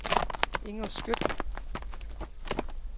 Inger Skjødt